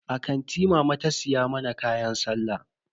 A kanti mama ta siya mana kayan sallah.